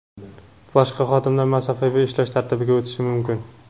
boshqa xodimlar masofaviy ishlash tartibiga o‘tishi mumkin.